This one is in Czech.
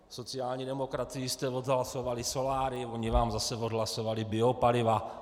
Sociální demokracii jste odhlasovali solária, oni vám zase odhlasovali biopaliva.